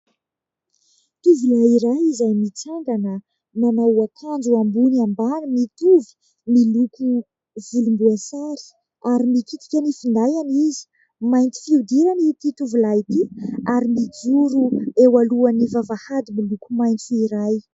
Tovolahy iray izay mitsangana, manao akanjo ambony ambany mitovy, miloko volombaoasary ary mikitika ny findainy izy. Mainty fihodirana ity tovolahy ity ary mijoro eo alohan'ny vavahady milkoko maitso iray.